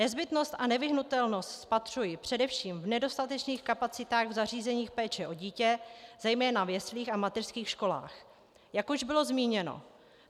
Nezbytnost a nevyhnutelnost spatřuji především v nedostatečných kapacitách v zařízeních péče o dítě, zejména v jeslích a mateřských školách, jak už bylo zmíněno.